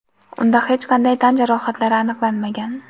unda hech qanday tan jarohatlari aniqlanmagan.